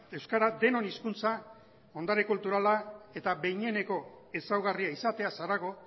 euskara denon hizkuntza ondare kulturala eta behineko ezaugarria izateaz harago